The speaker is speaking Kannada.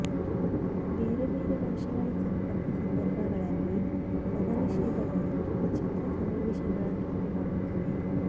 ಬೇರೆ ಬೇರೆ ಭಾಷೆಗಳ ಸಂಪರ್ಕ ಸಂದರ್ಭಗಳಲ್ಲಿ ಪದನಿಷೇಧಗಳು ವಿಚಿತ್ರ ಸನ್ನಿವೇಶಗಳನ್ನುಂಟು ಮಾಡುತ್ತವೆ